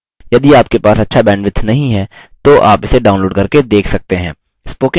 यदि आपके पास अच्छा bandwidth नहीं है तो आप इसे download करके देख सकते हैं